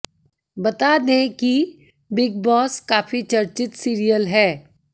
बता दें कि बिग बॉस काफी चर्चित सीरियल है